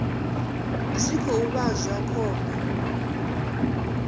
zwi khou vha zwa khombo